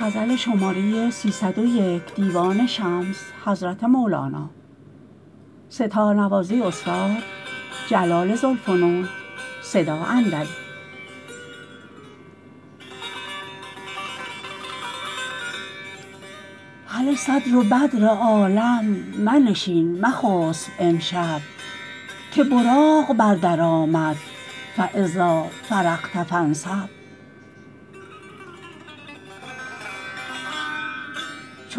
هله صدر و بدر عالم منشین مخسب امشب که براق بر در آمد فاذا فرغت فانصب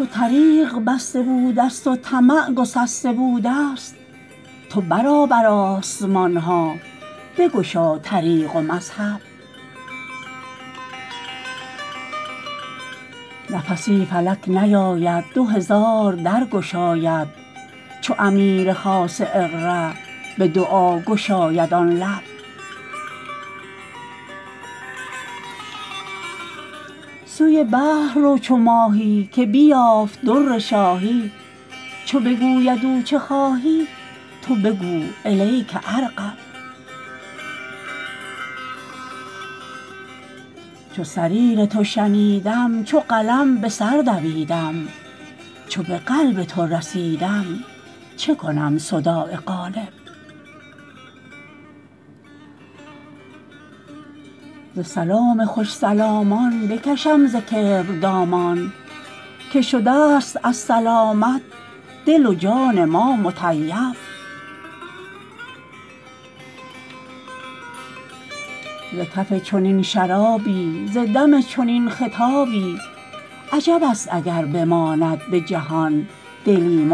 چو طریق بسته بودست و طمع گسسته بودست تو برآ بر آسمان ها بگشا طریق و مذهب نفسی فلک نیاید دو هزار در گشاید چو امیر خاص اقرا به دعا گشاید آن لب سوی بحر رو چو ماهی که بیافت در شاهی چو بگوید او چه خواهی تو بگو الیک ارغب چو صریر تو شنیدم چو قلم به سر دویدم چو به قلب تو رسیدم چه کنم صداع قالب ز سلام خوش سلامان بکشم ز کبر دامان که شده ست از سلامت دل و جان ما مطیب ز کف چنین شرابی ز دم چنین خطابی عجب ست اگر بماند به جهان دلی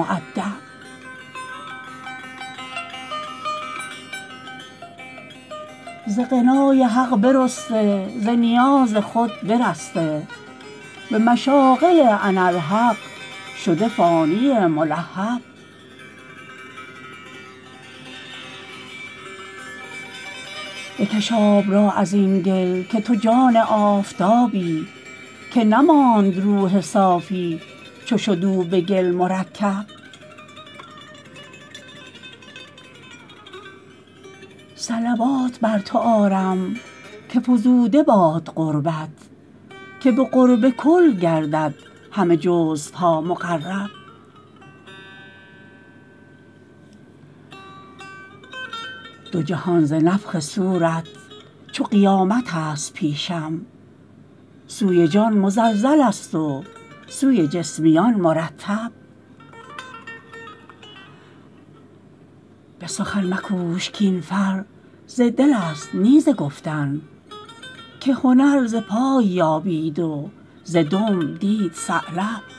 مودب ز غنای حق برسته ز نیاز خود برسته به مشاغل اناالحق شده فانی ملهب بکش آب را از این گل که تو جان آفتابی که نماند روح صافی چو شد او به گل مرکب صلوات بر تو آرم که فزوده باد قربت که به قرب کل گردد همه جزوها مقرب دو جهان ز نفخ صورت چو قیامتست پیشم سوی جان مزلزلست و سوی جسمیان مرتب به سخن مکوش کاین فر ز دلست نی ز گفتن که هنر ز پای یابید و ز دم دید ثعلب